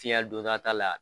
tiɲɛli dun ta t'a la